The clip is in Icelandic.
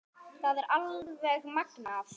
Það er alveg magnað.